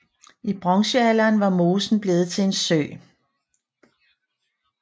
I bronzealderen var mosen blevet til en sø